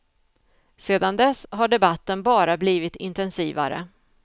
Sedan dess har debatten bara blivit intensivare.